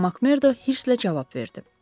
Mak Merdo hırsla cavab verdi.